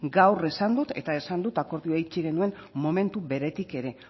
gaur esan dut eta esan dut akordioa itxi genuen momentu beretik ere